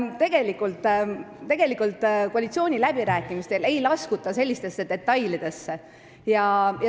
Tegelikult ei laskuta koalitsiooniläbirääkimistel sellistesse detailidesse.